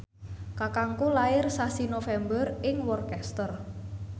kakangku lair sasi November ing Worcester